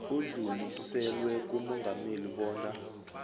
udluliselwe kumongameli bona